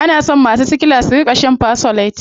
Ana so masu sickla suna shaa shan fersolate.